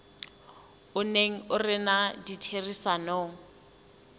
o neng o rena ditherisanong